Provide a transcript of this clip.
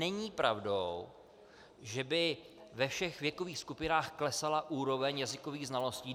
Není pravdou, že by ve všech věkových skupinách klesala úroveň jazykových znalostí.